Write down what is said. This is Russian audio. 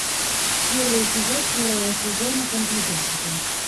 первый эпизод первого сезона компьютерщики